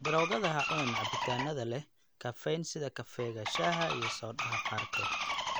Daroogada Ha cunin cabitaanada leh kafeyn sida kafeega, shaaha, iyo soodhaha qaarkood.